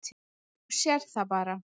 Þú sérð það bara.